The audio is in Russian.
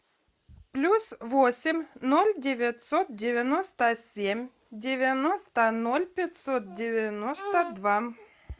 плюс восемь ноль девятьсот девяносто семь девяносто ноль пятьсот девяносто два